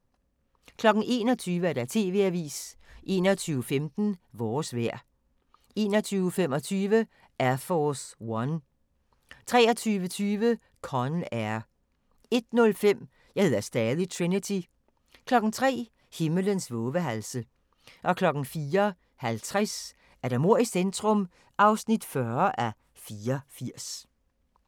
21:00: TV-avisen 21:15: Vores vejr 21:25: Air Force One 23:20: Con Air 01:05: Jeg hedder stadig Trinity 03:00: Himlens vovehalse 04:50: Mord i centrum (40:84)